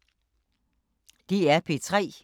DR P3